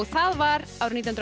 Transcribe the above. það var árið nítján